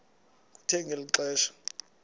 kuthe ngeli xesha